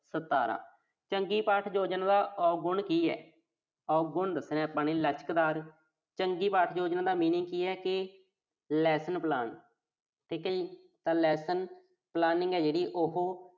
ਸਤਾਰਾਂ। ਚੰਗੀ ਪਾਠ ਯੋਜਨਾ ਦਾ ਔਗੁਣ ਕੀ ਆ। ਔਗੁਣ ਦੱਸਣਾ ਆਪਾਂ ਨੇ। ਲਚਕਦਾਰ। ਚੰਗੀ ਪਾਠ ਯੋਜਨਾ ਦਾ meaning ਕੀ ਆ ਕਿ lesson plan ਠੀਕ ਆ ਜੀ। ਤਾਂ lesson planning ਆ ਜਿਹੜੀ ਉਹੋ